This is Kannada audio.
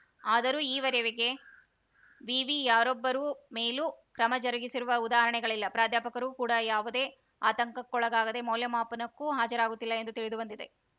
ಆದರೂ ಈ ವರೆವಿಗೆ ವಿವಿ ಯಾರೊಬ್ಬರೂ ಮೇಲೂ ಕ್ರಮ ಜರುಗಿಸಿರುವ ಉದಾಹರಣೆಗಳಿಲ್ಲ ಪ್ರಾಧ್ಯಾಪಕರು ಕೂಡ ಯಾವುದೇ ಆತಂಕಕ್ಕೆ ಒಳಗಾಗದೆ ಮೌಲ್ಯಮಾಪನಕ್ಕೂ ಹಾಜರಾಗುತ್ತಿಲ್ಲ ಎಂದು ತಿಳಿದು ಬಂದಿದೆ